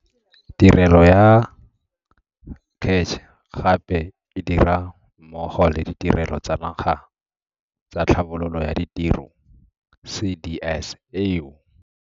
Tirelo ya CACH gape e dira mmogo le Ditirelo tsa Naga tsa Tlhabololo ya Ditiro CDS eo.